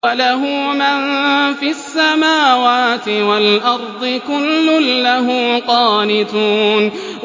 وَلَهُ مَن فِي السَّمَاوَاتِ وَالْأَرْضِ ۖ كُلٌّ لَّهُ قَانِتُونَ